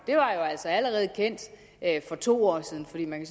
var jo altså allerede kendt for to år siden for man